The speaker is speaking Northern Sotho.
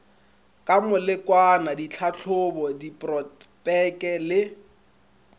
ka molekwana ditlhahlobo diprotpeke le